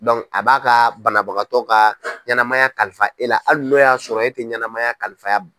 a b'a ka banabagatɔ ka ɲɛnɛmaya kalifa e la hali n' y'a sɔrɔ e tɛ ɲɛnɛnamaya kalifaya.